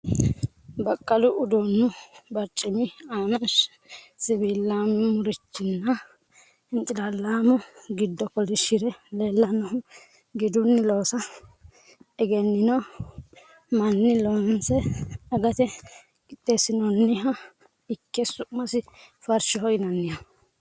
Baqqalu uduunnu barcimi aana siwiilaamurichiranna hincilaallaamu giddo kolishire leellannohu gidunni loosa egennino manni loonse agate qixxeessinoonniha ikke su'masi farshoho yinanniho.